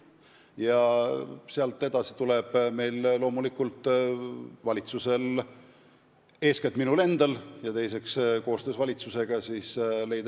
Ja sealt edasi tuleb valitsusel, eeskätt loomulikult minu endal, aga koostöös valitsusega mingi lahendus leida.